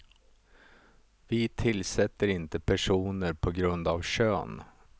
Vi tillsätter inte personer på grund av kön.